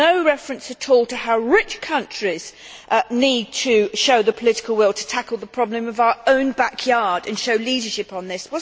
There was no reference at all to how rich countries need to show the political will to tackle the problem of our own backyard and show leadership on this.